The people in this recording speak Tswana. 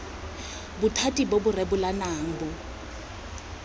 bothati bo bo rebolang bo